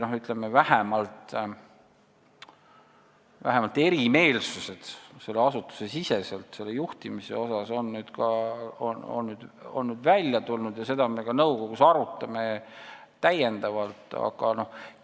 Või ütleme nii, et vähemalt asutusesisesed erimeelsused juhtimise koha pealt on nüüd välja tulnud ja me arutame seda täiendavalt ka nõukogus.